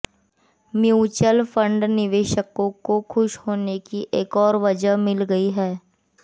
mutual fund निवेशकों को खुश होने की एक और वजह मिल गई है